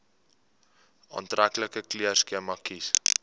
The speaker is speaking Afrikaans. aantreklike kleurskema kies